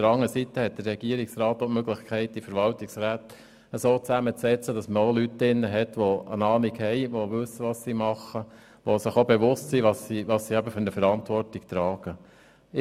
Der Regierungsrat hat aber die Möglichkeit, die Verwaltungsräte so zusammenzusetzen, dass diesen Leute angehören, die eine Ahnung haben, wissen, was sie tun, und sich der Verantwortung, die sie tragen, bewusst sind.